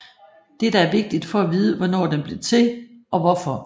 Dette er vigtigt for at vide hvornår den blev til og hvorfor